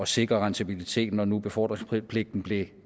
sikre rentabiliteten når nu befordringspligten blev